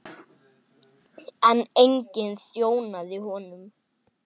En enginn þjónaði honum.